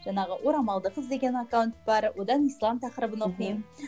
жаңағы орамалды қыз деген аккаунт бар одан ислам тақырыбын оқимын